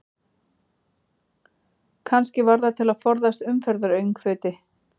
Kannski var það til að forðast umferðaröngþveiti?